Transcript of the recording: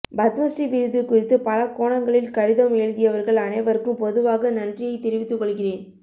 பத்மஸ்ரீ விருது குறித்து பலகோணங்களில் கடிதம் எழுதியவர்கள் அனைவருக்கும் பொதுவாக நன்றியை தெரிவித்துக்கொள்கிறேன்